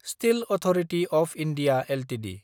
steel authority of India Ltd